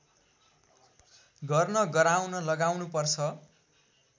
गर्न गराउन लगाउनुपर्छ